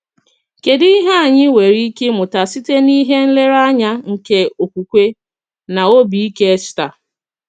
Kédù ihe anyị nwere ike ịmụta site n’ihe nlereanya nke okwukwe na obi ike Èstà?